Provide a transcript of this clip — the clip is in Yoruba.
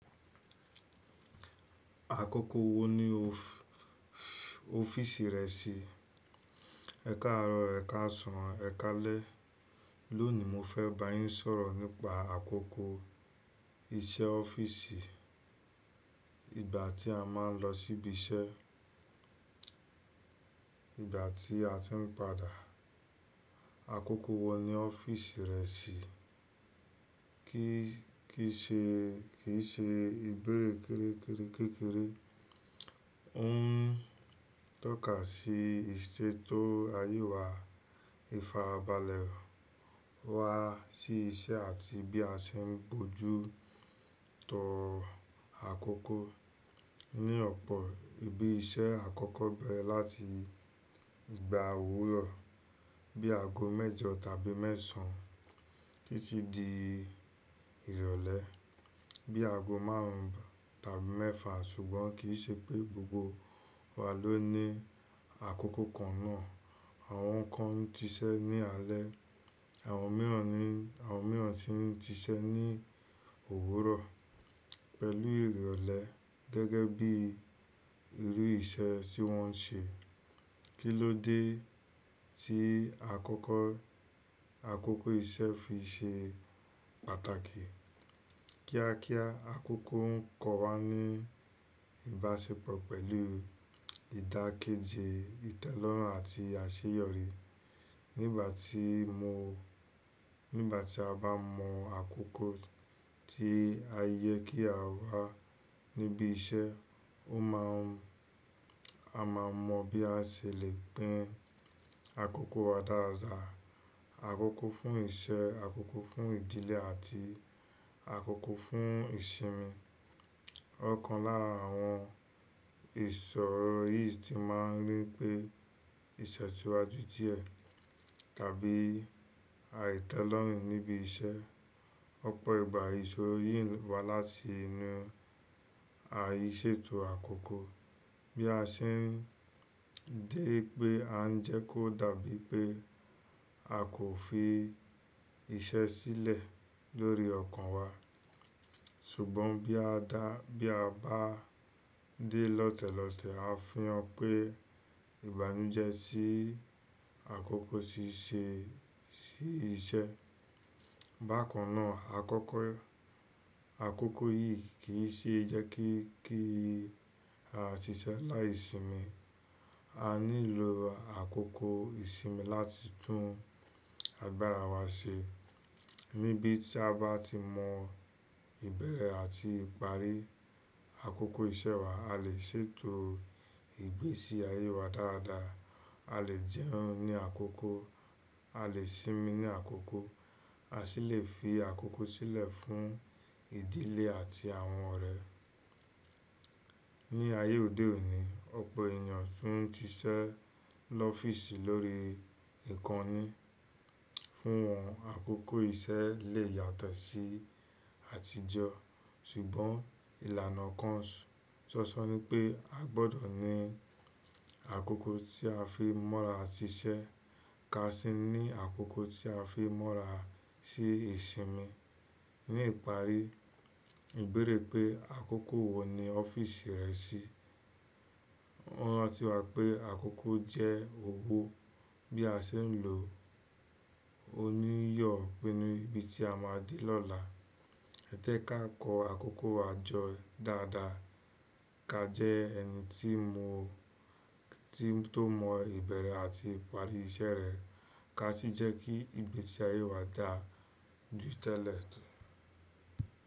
Àkókò wo ni o fi ọ́fíìsì rẹ sí? Ẹkáàrọ, ẹkáàsàn, ẹkáàlé. Lónìí mo fẹ́ bá yín sọ̀rọ̀ nípa àkókò iṣẹ́ ọ́fíìsì. Ìgbà tí a máa ń lọ síbí iṣẹ́, ìgbà tí a tí ń padà. Àkókò wo ni ọ́fíìsì rẹ sí? Kì í ṣe ìbéèrè kérekére kékeré, ó ń tọ́ka sí ìṣe tó ayé wa. Ìfàabàlẹ̀ wa sí iṣẹ́ àti bí a ṣe ń bójú tó àkókò. Ni ọ̀pọ̀ ibi iṣẹ́, àkókò bẹrẹ láti igba òwúrọ̀ bí àgó mẹ́jọ tàbí mẹ́sàn títí di ìrọ̀lẹ́ bí àgó márùn ún tàbí mẹ́fà. Ṣùgbọ́n kì í ṣe pé gbogbo wa ló ní àkókò kan náà. Àwọn kan ń tiṣẹ́ ní alẹ́, àwọn mìíràn sì ń tiṣẹ́ ní òwúrọ̀ pẹ̀lú ìrọ̀lẹ́ gẹ́gẹ́ bí irú iṣẹ́ tí wọ́n ń ṣe. Kí ló dé tí àkókò iṣẹ́ fi ṣe pàtàkì? Kíákíá àkókò ń kọ́ wa ní ìbáṣepọ̀ pẹ̀lú ìdákéjì ìtẹ́lọ́rùn àti àṣeyọrí. Nígbà tí a bá mọ àkókò tí a yẹ kí a wá níbí iṣẹ́, o maa n a máa mọ bí a ṣe lè p'in àkókò wa dáadáa. Àkókò fún iṣẹ́, àkókò fún ìdílé àti àkókò fún ìsinmi. Ọ̀kan lára àwọn ìṣòro yìí tí máa ń ni pé ìtẹ̀síwájú díẹ̀ tàbí àìtẹ́lọ́rùn níbí iṣẹ́. Ọ̀pọ̀ ìgbà ìṣòro yìí ń wá láti inú àìṣètò àkókò. Bí a ṣe ń dé pé a ń jẹ́ kó dàbí pé a kò fi iṣẹ́ sílẹ̀ lórí ọkàn wa. Ṣùgbọ́n bí a bá dé lọ́tẹ̀lọ́tẹ̀, a fiyàn pé ìbànújẹ́ sí àkókò ṣíṣe iṣẹ́. Bákan náà àkókò yìí kì í ṣe jẹ́ kí a ṣiṣẹ́ láìsinmi. A nílò àkókò ìsinmi láti tún agbára wa ṣe. Nibí tí a bá ti mọ ìbẹ̀rẹ̀ àti ìparí àkókò iṣẹ́ wa, a lè ṣètò ìgbésí ayé wa dáadáa. A lè jẹun ní àkókò, a lè sinmi ní àkókò, a sì lè fi àkókò sílẹ̀ fún ìdílé àti àwọn ọ̀rẹ́. Ní ayé òde òní, ọ̀pọ̀ ènìyàn tí ń tiṣẹ́ lọ́fíìsì lórí ìkànnì. Fún wọn àkókò iṣẹ́ lè yàtọ̀ sí àtijọ́. Ṣùgbọ́n ìlànà kan sọ sọ ní pé a gbọdọ̀ ní àkókò tí a fi mọ́ra sí iṣẹ́ ká sì ní àkókò tí a fi mọ́ra sí ìsinmi. Ní ìparí, ìbéèrè pé àkókò wo ni ọ́fíìsì rẹ sí? Rántí wa pé àkókò jẹ́ òwò bí a ṣe ń lò ó níyọ̀ pẹ̀lú ibi tí a máa di lọ́la. Ẹ tẹ́ ká kọ àkókò wa jọ dáadáa ká jẹ́ ẹni tí tó mọ ìbẹ̀rẹ̀ àti ìparí iṣẹ́ rẹ̀ ká sì jẹ́ kí ìgbésí ayé wa dà jù tẹ́lẹ̀.